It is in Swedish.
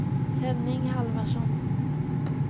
Henning Halvarsson